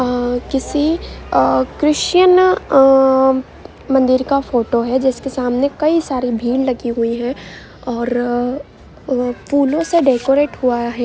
अ किसी अ क्रिश्चियन अ मंदिर का फोटो है जिसके सामने काफी सारी भीड़ लगी हुई है और फूलो से डेकोरेट हुआ है।